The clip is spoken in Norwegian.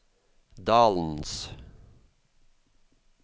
dalens